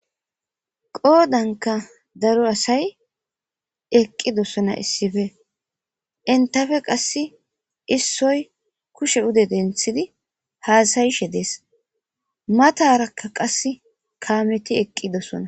Qoodanka daro asay eqqidossona issife intafe qass issoy kushe ude denthidi haasayishe dees matarakka qas kaameti eqqidossona